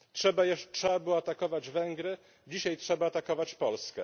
Trzeba było atakować Węgry, dzisiaj trzeba atakować Polskę.